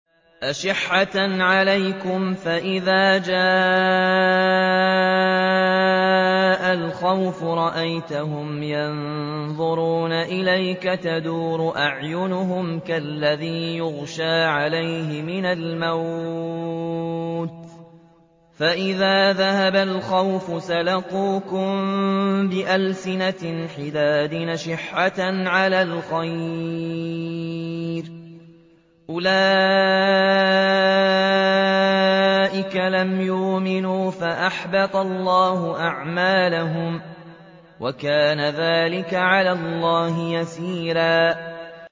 أَشِحَّةً عَلَيْكُمْ ۖ فَإِذَا جَاءَ الْخَوْفُ رَأَيْتَهُمْ يَنظُرُونَ إِلَيْكَ تَدُورُ أَعْيُنُهُمْ كَالَّذِي يُغْشَىٰ عَلَيْهِ مِنَ الْمَوْتِ ۖ فَإِذَا ذَهَبَ الْخَوْفُ سَلَقُوكُم بِأَلْسِنَةٍ حِدَادٍ أَشِحَّةً عَلَى الْخَيْرِ ۚ أُولَٰئِكَ لَمْ يُؤْمِنُوا فَأَحْبَطَ اللَّهُ أَعْمَالَهُمْ ۚ وَكَانَ ذَٰلِكَ عَلَى اللَّهِ يَسِيرًا